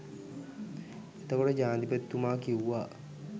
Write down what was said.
එතකොට ජනාධිපතිතුමා කිව්වා